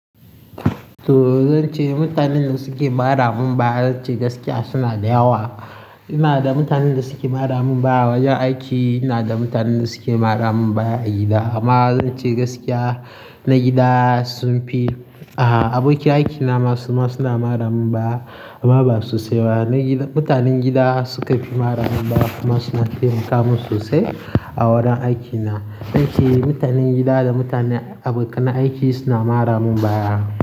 To zan ce mutanen da suke mara mun baya zan ce gaskiya suna da yawa. Ina da mutanen da suke mara mun baya wajen aiki, ina da mutanen da suke mara mun baya agida. Amma zan ce gaskiya na gida sun fi. Aha, abokan aikina masu suna mara mun baya amma ba su sai ba. Na gida, mutanen gida suka fi mara mun baya kuma suna taimaka mun sosai a wurin aikina. Zan ce mutanen gida da mutanen abokan na aiki suna mara mun baya.